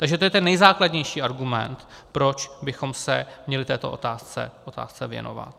Takže to je ten nejzákladnější argument, proč bychom se měli této otázce věnovat.